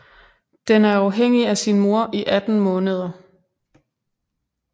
Den er afhængig af sin mor i 18 måneder